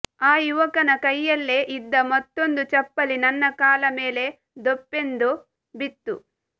ಆ ಯವಕನ ಕೈಯಲ್ಲೇ ಇದ್ದ ಮತ್ತೊಂದು ಚಪ್ಪಲಿ ನನ್ನ ಕಾಲ ಮೇಲೆ ಧೊಪ್ಪೆಂದು ಬಿತ್ತು